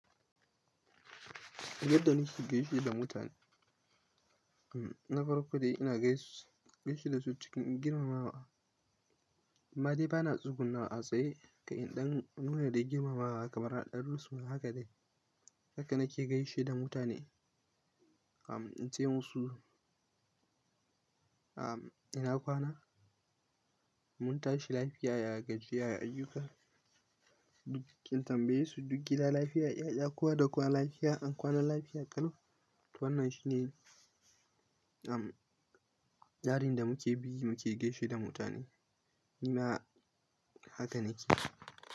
Abin da nake gaishe da mutane, na farko dai ina gaishe da su cikin girmamawa. Amma dai ba na tsugunnawa a tsaye kaɗai don nuna dai girmamawa kamar aɗan run suna haka dai. Haka nake gaishe da mutane. Ince musu, ina kwana? Mun tashi lafiya, ya gajiya ya ayyuka. In tambaye su duk gida lafiya? 'Ya'ya kowa da kowa lafiya? An kwana lafiya ƙalau? Wannan shine amm tsarin da muke bi mu ke gaishe da mutane. Ni ma haka nake.